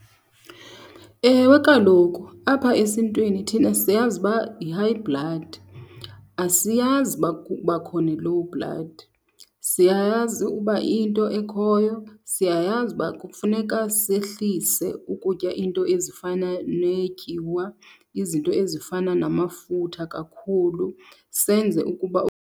Ewe, kaloku apha esintwini thina siyazi uba yi-high blood. Asiyazi uba kubakho ne-low blood. Siyayazi uba into ekhoyo, siyayazi uba kufuneka sehlise ukutya iinto ezifana neetyiwa, izinto ezifana namafutha kakhulu, senze ukuba .